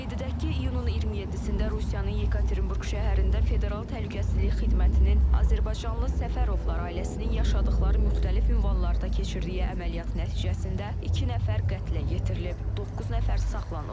Qeyd edək ki, iyunun 27-də Rusiyanın Yekaterinburq şəhərində federal təhlükəsizlik xidmətinin azərbaycanlı Səfərovlar ailəsinin yaşadıqları müxtəlif ünvanlarda keçirdiyi əməliyyatın nəticəsində iki nəfər qətlə yetirilib, doqquz nəfər saxlanılıb.